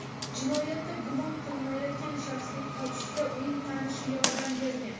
Jinoyatda gumon qilinayotgan shaxsning qochishida uning tanishi yordam bergan.